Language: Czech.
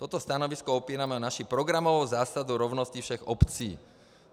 Toto stanovisko opírám o naši programovou zásadu rovnosti všech obcí.